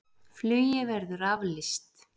Flugi verði aflýst